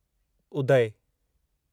उदय